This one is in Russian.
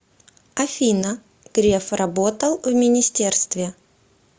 афина греф работал в министерстве